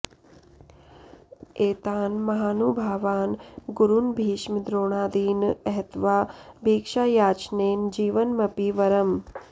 एतान् महानुभावान् गुरून् भीष्म द्रोणादीन् अहत्वा भिक्षायाचनेन जीवनमपि वरम्